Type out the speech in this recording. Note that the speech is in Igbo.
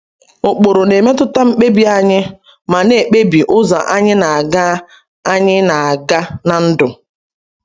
Ụkpụrụ na-emetụta mkpebi anyị ma na-ekpebi ụzọ anyị na-aga anyị na-aga na ndụ.